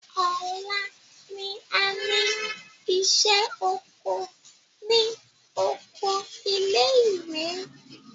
Ọ̀la ni a ní ìṣẹ́ oko ní oko ilé ìwé.